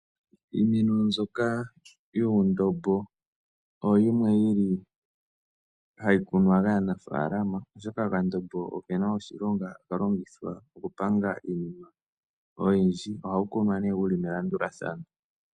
Iimeno mbyoka yuundombo oyo yimwe yi li hayi kunwa kaanafaalama, oshoka okandombo oke na oshilonga haka longithwa okupanga iinima oyindji. Ohawu kunwa nee wu li melandulathano.